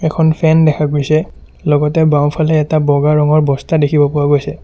এখন ফেন দেখা গৈছে লগতে বাওঁফালে এটা বগা ৰঙৰ বস্তা দেখিব পোৱা গৈছে।